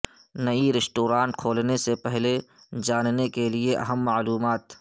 نئی ریسٹورانٹ کھولنے سے پہلے جاننے کے لئے اہم معلومات